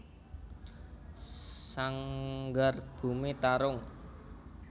Sanggar Bumi Tarung